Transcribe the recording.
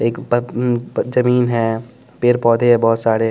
एक जमीन है पेड़ पौधे है बहुत सारे--